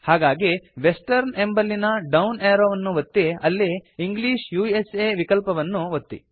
ಹಾಗಾಗಿ ವೆಸ್ಟರ್ನ್ ಎಂಬಲ್ಲಿನ down arrow ವನ್ನು ಒತ್ತಿ ಅಲ್ಲಿ ಇಂಗ್ಲಿಷ್ ಉಸಾ ವಿಕಲ್ಪವನ್ನು ಒತ್ತಿ